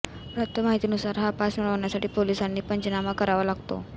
प्राप्त माहितीनुसार हा पास मिळण्यासाठी पोलीसांनी पंचनामा करावा लागतो